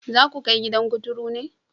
Za ku kai gidan kuturu ne?